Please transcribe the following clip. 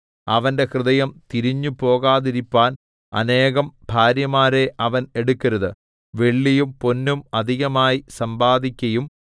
അവന്റെ ഹൃദയം തിരിഞ്ഞുപോകാതിരിപ്പാൻ അനേകം ഭാര്യമാരെ അവൻ എടുക്കരുത് വെള്ളിയും പൊന്നും അധികമായി സമ്പാദിക്കയും അരുത്